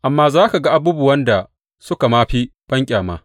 Amma za ka ga abubuwan da suka ma fi banƙyama.